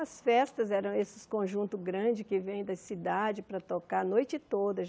As festas eram esses conjuntos grandes que vêm da cidade para tocar a noite toda.